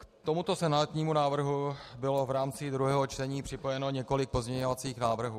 K tomuto senátnímu návrhu bylo v rámci druhého čtení připojeno několik pozměňovacích návrhů.